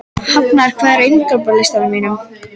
Hafnar, hvað er á innkaupalistanum mínum?